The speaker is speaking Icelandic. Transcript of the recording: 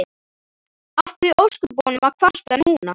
Af hverju í ósköpunum að kvarta núna?